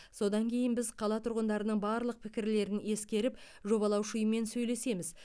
содан кейін біз қала тұрғындарының барлық пікірлерін ескеріп жобалаушы ұйыммен сөйлесеміз